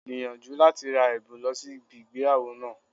Gbìyànjú láti ra èbùn lọ sí ibi ìgbéyàwó náà